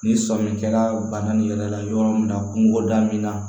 Ni sɔmi kɛra bana ni yɛrɛ yɔrɔ min na kungo da min na